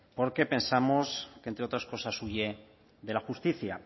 porque pensamos que entre otras cosas huye de la justicia